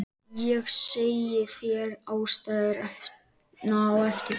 Ég segi þér ástæðuna á eftir